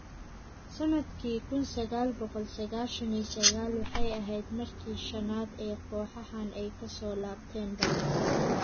Sannadkii kun saqal boqol saqashan iyo saqal, waxay ahayd markii shanaad ee kooxahan ay ka soo laabteen barbaro.